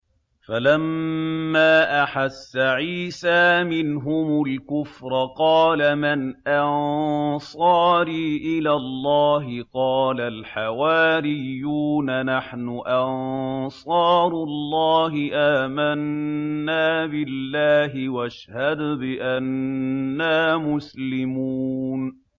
۞ فَلَمَّا أَحَسَّ عِيسَىٰ مِنْهُمُ الْكُفْرَ قَالَ مَنْ أَنصَارِي إِلَى اللَّهِ ۖ قَالَ الْحَوَارِيُّونَ نَحْنُ أَنصَارُ اللَّهِ آمَنَّا بِاللَّهِ وَاشْهَدْ بِأَنَّا مُسْلِمُونَ